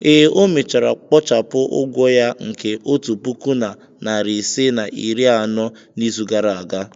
ee, o mechara kpochapụ ụgwọ ya nke otu puku na narị ise na iri anọ n'izu gara aga.